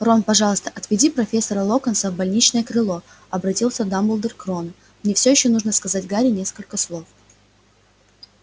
рон пожалуйста отведи профессора локонса в больничное крыло обратился дамблдор к рону мне ещё нужно сказать гарри несколько слов